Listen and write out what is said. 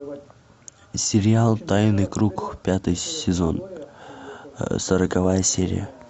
сериал тайный круг пятый сезон сороковая серия